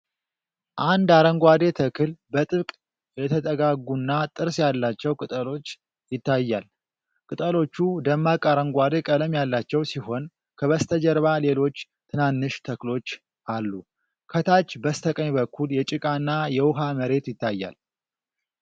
አንድ አረንጓዴ ተክል በጥብቅ የተጠጋጉና ጥርስ ያላቸው ቅጠሎች ይታያል። ቅጠሎቹ ደማቅ አረንጓዴ ቀለም ያላቸው ሲሆን ከበስተጀርባ ሌሎች ትናንሽ ተክሎች አሉ። ከታች በስተቀኝ በኩል የጭቃና የውሃ መሬት ይታያል።